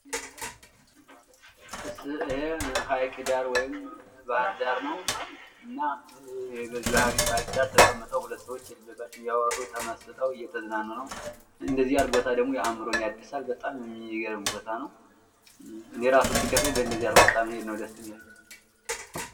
ይሄ ሀይቅ ዳር ወይም ባህር ዳር ነው። እና በሀይቅ ዳር ሁለት ሰዎች ተቀምጠው እያወሩ ተመስጠው እየተዝናኑ ነው። እንደዚህ ያለ ቦታ ደሞ አዕምሮን ያድሳል። በጣም የሚገርም ቦታ ነው። እኔ እራሱ ሲከፋኝ በደዚህ ያለ ቦታ ነው መሄድ ደስ የሚለኝ።